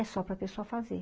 É só para a pessoa fazer.